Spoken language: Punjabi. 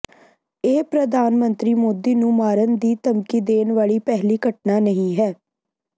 ਇਹ ਪ੍ਰਧਾਨ ਮੰਤਰੀ ਮੋਦੀ ਨੂੰ ਮਾਰਨ ਦੀ ਧਮਕੀ ਦੇਣ ਵਾਲੀ ਪਹਿਲੀ ਘਟਨਾ ਨਹੀਂ ਹੈ